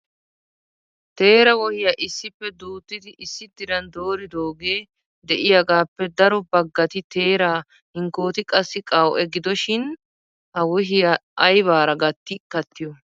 teera wohiya issippe duuttidi issi diran dooridooge de'iyaagappe daro baggati teera hinkkooti qassi qaw''e. gidoshin ha wohiya aybaara gatti kattiyo?